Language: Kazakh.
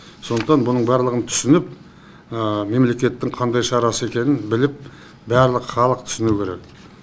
сондықтан бұның барлығын түсініп мемлекеттің қандай шарасы екенін біліп барлық халық түсінуі керек